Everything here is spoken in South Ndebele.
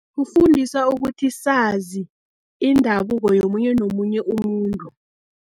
Kufundisa ukuthi sazi indabuko, yomunye nomunye umuntu.